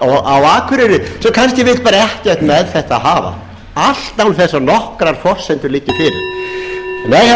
akureyri sem kannski vill bara ekkert með þetta hafa allt án þess að nokkrar forsendur liggi fyrir nei herra forseti það er heiðarleiki traust